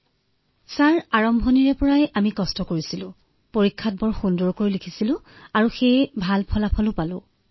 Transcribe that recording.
মহোদয় বাস্কেটবল খেলিছিলো স্কুলত থাকোতে